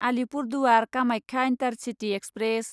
Alipurduar Kamakhya intercity express